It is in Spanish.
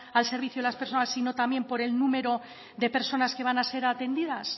al servicio de las personas sino también por el número de personas que van a ser atendidas